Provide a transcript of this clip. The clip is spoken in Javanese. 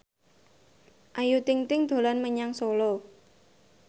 Ayu Ting ting dolan menyang Solo